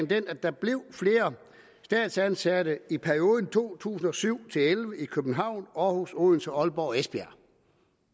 den at der blev flere statsansatte i perioden to tusind og syv til elleve i københavn århus odense aalborg og esbjerg